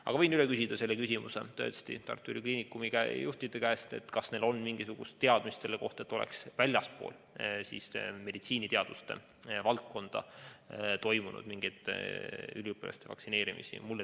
Aga ma võin tõesti Tartu Ülikooli Kliinikumi juhtide käest üle küsida, kas neil on mingisugust teadmist selle kohta, et oleks ka väljastpoolt meditsiiniteaduste valdkonda üliõpilasi vaktsineeritud.